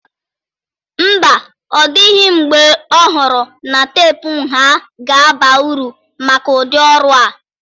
Mba, ọ dịghị mgbe m ọhụrụ na teepu nha ga-aba uru maka ụdị ọrụ a